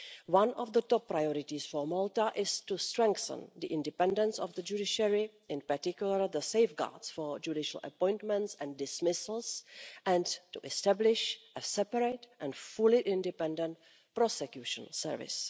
One of the top priorities for Malta is to strengthen the independence of the judiciary, in particular the safeguards for judicial appointments and dismissals, and to establish a separate and fully independent prosecution service.